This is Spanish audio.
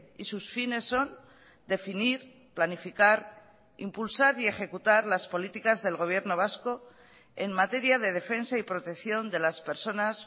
y sus fines son definir planificar impulsar y ejecutar las políticas del gobierno vasco en materia de defensa y protección de las personas